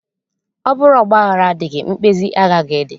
Ọ bụrụ ọgbaghara adịghị, mkpezi agaghị adị